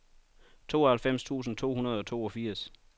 tooghalvfems tusind to hundrede og toogfirs